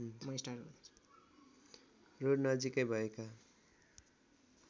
road नजिकै भएका